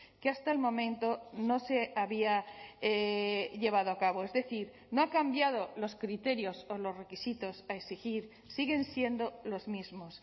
que hasta el momento no se había llevado a cabo es decir no ha cambiado los criterios o los requisitos a exigir siguen siendo los mismos